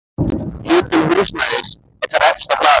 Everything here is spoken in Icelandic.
Hitun húsnæðis er þar efst á blaði.